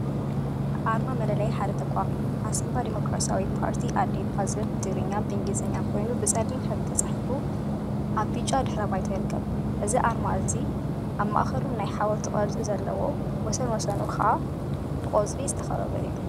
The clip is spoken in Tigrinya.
አርማ መለለይ ሓደ ተቋም እዩ፡፡ ዓሲምባ ዴሞክራሲያዊ ፓርቲ/ዓዴፓ/ ዝብል ብትግርኛን እንግሊዘኛን ኮይኑ ብፀሊም ሕብሪ ተፃሒፉ አብ ብጫ ድሕረ ባይታ ይርከብ፡፡ እዚ አርማ አብ ማእከሉ ናይ ሓወልቲ ቅርፂ ዘለዎን ወሰን ወሰኑ ከዓ ብቆፅሊ ዝተከበበ እዩ፡፡